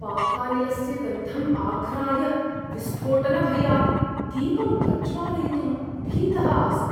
पाकानिलस्य गन्धं आघ्राय विस्फोटनभयात् दीपं प्रज्वालयितुं भीतः आसम्।